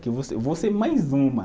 Que eu vou ser, eu vou ser mais uma.